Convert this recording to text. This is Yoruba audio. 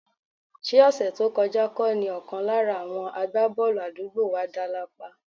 Ṣé ọ̀sẹ̀ tó kọjá kọ́ ni ọ̀kan lára àwọn àgbábọ́ọ̀lù àdúgbò wa dá lápá?